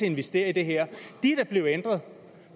investere i det her er blevet ændret